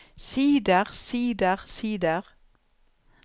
sider sider sider